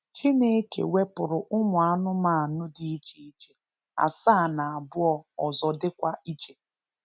Chineke wepụrụ ụmụ anụmanụ dị iche iche asaá na abụọ ọzọ dịkwa iche